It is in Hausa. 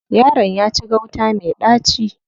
Yaron ya ci gauta me ɗaci.